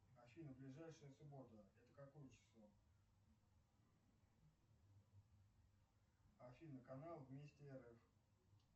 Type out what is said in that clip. афина ближайшая суббота это какое число афина канал вместе рф